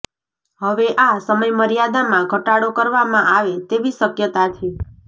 હવે આ સમયમર્યાદામાં ઘટાડો કરવામાં આવે તેવી શક્યતા છે